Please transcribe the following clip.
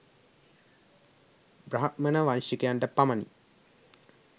බ්‍රාහ්මණ වංශිකයන්ට පමණි.